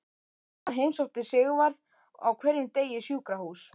Hann heimsótti Sigvarð á hverjum degi í sjúkrahús.